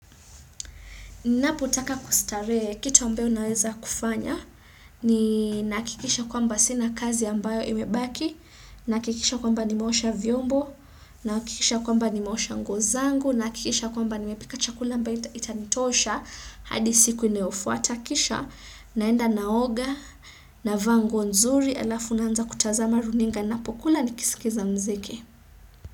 Napotaka kustarehe kitu ambayo naweza kufanya ni naakikisha kwamba sina kazi ambayo imebaki, naakikisha kwamba nimaosha vyombo, naakikisha kwamba nimaosha nguo zangu, naakikisha kwamba nimepika chakula mba itanitosha hadi siku inayofuata kisha, naenda naoga, navaa nguo nzuri, alafu naanza kutazama runinga napokula nikisikiza mziki.